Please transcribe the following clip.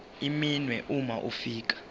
iminwe uma ufika